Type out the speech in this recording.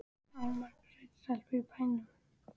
Það eru margar sætar stelpur í bænum.